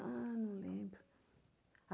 Ah, não lembro.